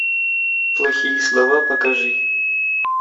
плохие слова покажи